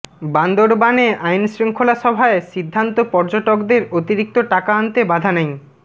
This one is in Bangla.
বান্দরবানে আইনশৃঙ্খলা সভায় সিদ্ধান্ত পর্যটকদের অতিরিক্ত টাকা আনতে বাধা নেই